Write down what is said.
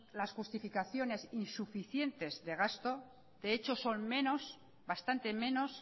las justificaciones insuficientes de gasto de hecho son menos bastante menos